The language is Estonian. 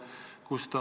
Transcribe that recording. Aitäh!